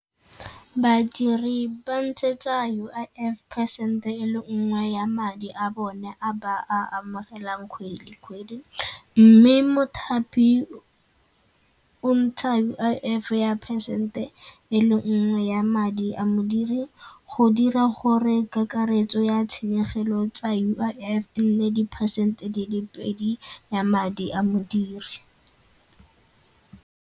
Badiri ba ntshetsa U_I_F ka cent-e e le nngwe ya madi a bone a ba a amogelang kgwedi kgwedi mme mothapi o ntsha U_I_F ya percent e le nngwe ya madi a modiri go dira gore kakaretso ya tshenyegelo tsa U_I_F e nne di phesente di le pedi ya madi a modiri.